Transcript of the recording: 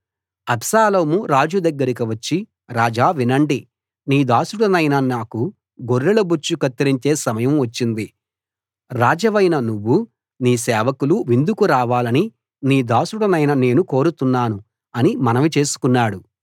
అబ్షాలోము రాజు దగ్గరికి వచ్చి రాజా వినండి నీ దాసుడనైన నాకు గొర్రెల బొచ్చు కత్తిరించే సమయం వచ్చింది రాజవైన నువ్వూ నీ సేవకులూ విందుకు రావాలని నీ దాసుడనైన నేను కోరుతున్నాను అని మనవి చేసుకున్నాడు